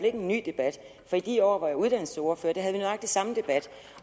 er en ny debat for i de år hvor jeg var uddannelsesordfører havde vi nøjagtig samme debat